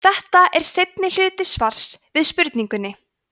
þetta er seinni hluti svars við spurningunni